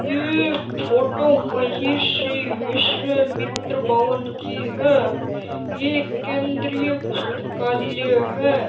ये फोटो महेश जी विश्वामित्र भवन की है ये केंद्रीय पुस्तकालय है।